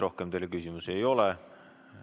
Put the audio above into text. Rohkem teile küsimusi ei ole.